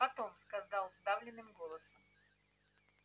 потом сказал сдавленным голосом